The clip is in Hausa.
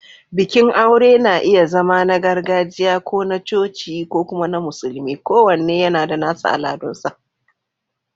Bikin aure na iya zama na gargajiya, ko na coci, ko kuma na musulmi, kowanne yana da nasa al'adunsa.